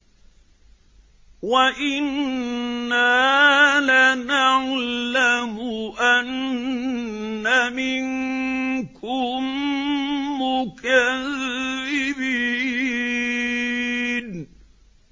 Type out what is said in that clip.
وَإِنَّا لَنَعْلَمُ أَنَّ مِنكُم مُّكَذِّبِينَ